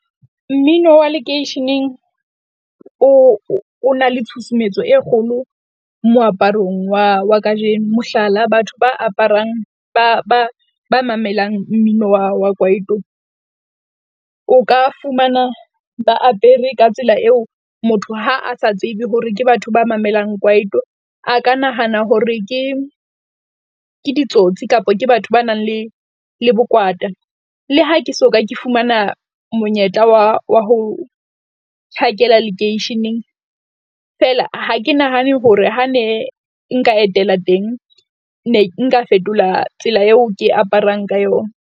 Mmino wa lekeisheneng o, o na le tshusumetso e kgolo moaparong wa wa kajeno. Mohlala, batho ba aparang ba ba ba mamelang mmino wa wa kwaito, o ka fumana ba apere ka tsela eo motho ha a sa tsebe hore ke batho ba mamelang kwaito. A ka nahana hore ke ke ditsotsi kapa ke batho ba nang le le bokwata. Le ha ke soka, ke fumana monyetla wa wa ho tjhakela lekeisheneng, feela ha ke nahane hore ha ne nka etela teng, ne nka fetola tsela eo ke aparang ka yona.